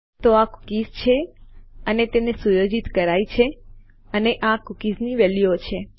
તો આ કુકીઝ છે અને તેને સુયોજિત કરાયી છે અને આ કુકીઝ્ની વેલ્યુઓ છે